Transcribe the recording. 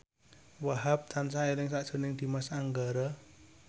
Wahhab tansah eling sakjroning Dimas Anggara